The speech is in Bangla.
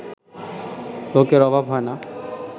লোকের অভাব হয় না